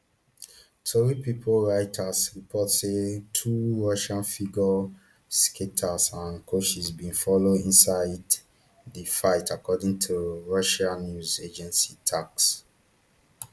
tori pipo reuters report say two russian figure skaters and coaches bin follow inside di flight according to russia news agency tass